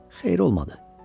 Xeyir olmadı.